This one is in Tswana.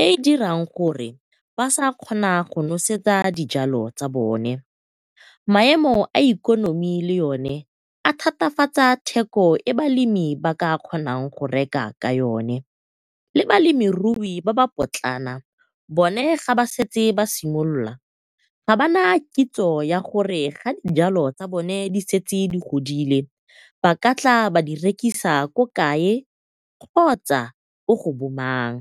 e e dirang gore ba sa kgona go nosetsa dijalo tsa bone. Maemo a ikonomi le one a thatafatsa theko e balemi ba ka kgonang go reka ka yone le balemirui ba ba potlana bone ga ba setse ba simololola, ga bana kitso ya gore ga dijalo tsa bone di setse di godile ba ka tla ba di rekisa ko kae kgotsa ko go bo mang.